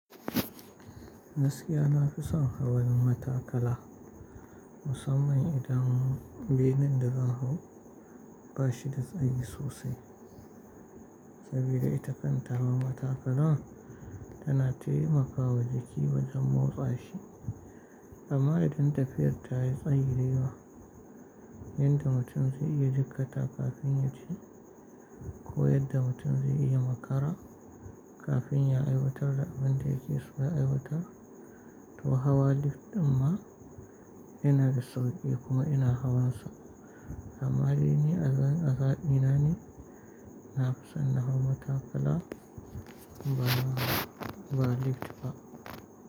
Gaskiya na fi son hawan matakala musamman idan bene da zan hau ba shi da tsayi sosai saboda ita kan taron matakala tana taimakawa jiki wajen motsa shi amma idan tafiyar ta yi tsayirewa yadda mutum zai iya jikkata kafin ya ci ko yadda mutum zai iya makara kafin ya aiwatar da abin da yake so ya aiwatar, to hawa lif ɗin ma ina da sauƙi kuma ina hawan sa amma ainihi azazina ne na fi son na hau matakala ba lift ba.